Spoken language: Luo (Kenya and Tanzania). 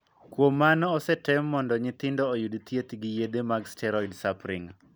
Kuom mano, osetem mondo nyithindo oyudd thieth gi yedhe mag steroid sapring.